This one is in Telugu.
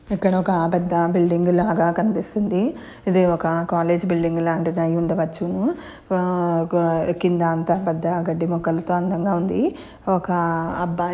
ఇక్కడ ఒక పెద్ద బిల్డింగ్ లాగా కనిపిస్తుంది. ఇది ఒక కాలేజ్ బిల్డింగు లాంటిది అయ్యి ఉండవచ్చును. ఉహ్హ ఆ-కింద అంత పెద్ద గడ్డి మొక్కలతో అందంగా ఉంది. ఒక అబ్బాయి--